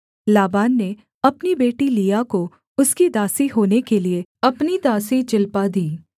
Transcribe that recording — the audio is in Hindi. लाबान ने अपनी बेटी लिआ को उसकी दासी होने के लिये अपनी दासी जिल्पा दी